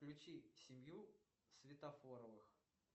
включи семью светофоровых